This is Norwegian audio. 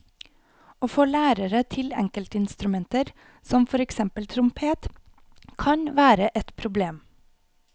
Å få lærere til enkeltinstrumenter som for eksempel trompet kan være et problem.